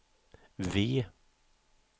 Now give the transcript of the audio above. V